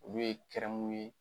Olu ye kɛrɛmu ye.